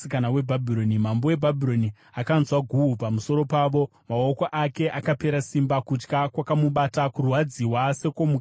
Mambo weBhabhironi akanzwa guhu pamusoro pavo, maoko ake akapera simba. Kutya kwakamubata, kurwadziwa sekwomukadzi wosununguka.